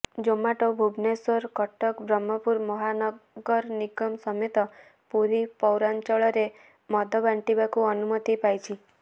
ଜମାଟୋ ଭୁବନେଶ୍ବର କଟକ ବ୍ରହ୍ମପୁର ମହାନଗର ନିଗମ ସମେତ ପୁରୀ ପୌରାଞ୍ଚଳରେ ମଦ ବାଣ୍ଟିବାକୁ ଅନୁମତି ପାଇଛି